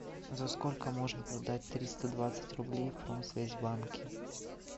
за сколько можно продать триста двадцать рублей в промсвязьбанке